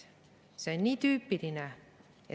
See on nii tüüpiline.